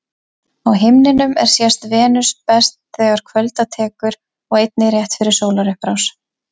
Á himninum er sést Venus best þegar kvölda tekur og einnig rétt fyrir sólarupprás.